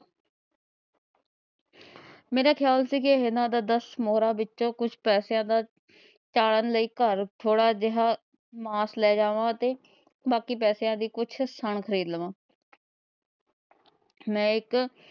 ਮੇਰਾ ਖਿਆਲ ਸੀ, ਦਸ ਮੋਹਰਾ ਵਿੱਚੋ ਕੁਛ ਪੈਸੇਆਂ ਦਾ ਖਾਨ ਲਈ ਘਰ ਥੋੜਾ ਜਿਹਾ ਮਾਸ ਲੈ ਜਾਵਾ ਅਤੇ ਬਾਕੀ ਪੈਸਿਆਂ ਦੀ ਕੁੱਜ ਸਣ ਖਰੀਦ ਲਵਾ। ਮੈ ਇੱਕ